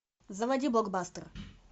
заводи блокбастер